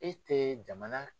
E tɛ jamana